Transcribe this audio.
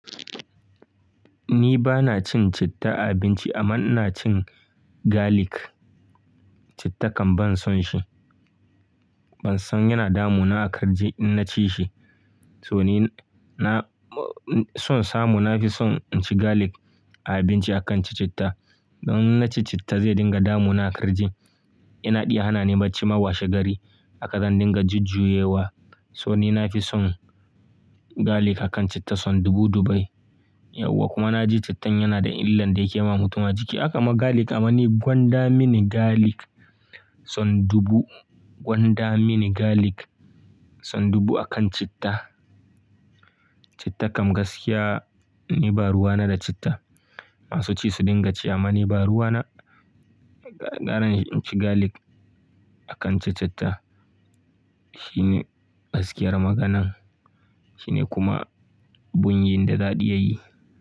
Ni bana cin citta a abinci amma ina cin garlic. Citta kam ban son shi. Ban son yana damu na a karji in na ci shi. So ni na-- son samu na fi son in ci garlic a abinci akan in ci citta. Don in na ci citta zai dinga damu na a kirji. Yana iya hana ni bacci ma washe gari haka zan dinga jujjuyewa. So ni na fi son garlic akan citta son dubu dubu. Yau kuwa na ji cittan yana da illan da yake yi wa mutum a jiki. Haka ma garlic amma ni gwanda mini garlic sau dubu. Gwan dami ni garlic son dubu akan citta. Cittakan gaskiya ni ba ruwa na da citta. Masu ci su dinga ci amma ni ba ruwa na. Ɓa ƙarin in ci garlic akan ci citta. Shi ne gaskiyar maganan, shi ne kuma bunyin da zaɗi yayi.